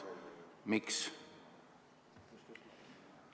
Miks?